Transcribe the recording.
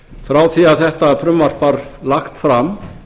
frá því að þetta frumvarp var lagt fram